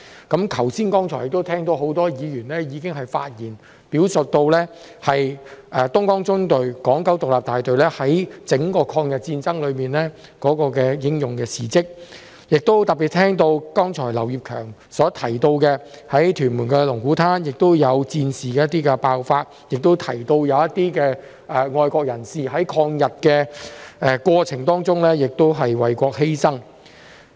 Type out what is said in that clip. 剛才聽到很多議員在發言中表述東江縱隊港九獨立大隊在整場抗日戰爭中的英勇事蹟，亦特別聽到剛才劉業強議員提到，在屯門龍鼓灘曾有戰事爆發，以及一些愛國人士在抗日過程中為國犧牲。